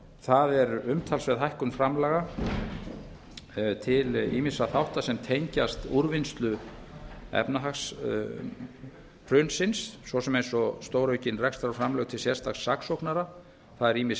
það er umtalsverð hækkun framlaga til ýmissa þátta sem tengjast úrvinnslu efnahagshrunsins svo sem eins og stóraukin rekstrarframlög til sérstaks saksóknara það er ýmis